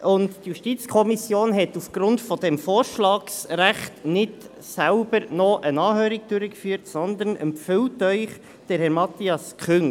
Die JuKo hat aufgrund dieses Vorschlagsrechts nicht noch selbst eine Anhörung durchgeführt, sondern empfiehlt Ihnen Herrn Matthias Küng.